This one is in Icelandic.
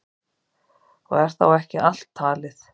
Og er þá ekki allt talið.